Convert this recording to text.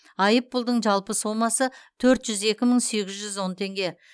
айыппұлдың жалпы сомасы төрт жүз екі мың сегіз жүз он теңге